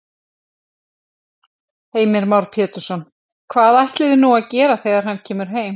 Heimir Már Pétursson: Hvað ætliði nú að gera þegar hann kemur heim?